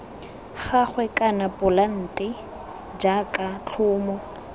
gagwe kana polante jaaka tlhomo